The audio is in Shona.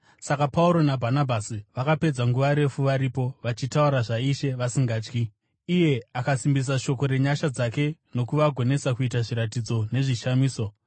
Saka Pauro naBhanabhasi vakapedza nguva refu varipo, vachitaura zvaIshe vasingatyi, iye akasimbisa shoko renyasha dzake nokuvagonesa kuita zviratidzo nezvishamiso.